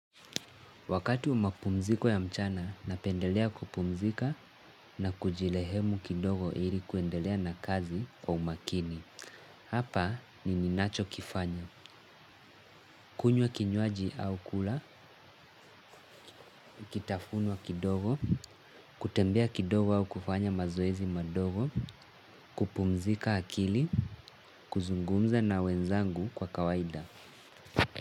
Wakati umapumziko ya mchana, napendelea kupumzika na kujirehemu kidogo ili kuendelea na kazi wa umakini. Hapa ni ninachokifanya. Kunywa kinywaji au kula, kitafunwa kidogo, kutembea kidogo au kufanya mazoezi madogo, kupumzika akili, kuzungumza na wenzangu kwa kawaida.